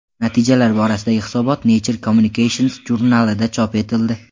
Natijalar borasidagi hisobot Nature Communications jurnalida chop etildi.